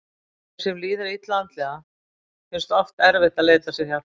Þeim sem líður illa andlega finnst oft erfitt að leita sér hjálpar.